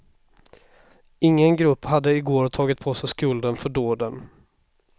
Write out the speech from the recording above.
Ingen grupp hade i går tagit på sig skulden för dåden.